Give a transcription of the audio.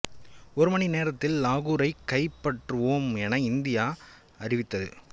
ஒரு மணி நேரத்தில் லாகூரைக் கைப்பற்றுவோம் என இந்தியா அறிவித்தது